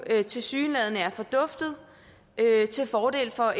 tilsyneladende er forduftet til fordel for